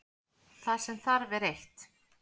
Það sem þarf er eitt.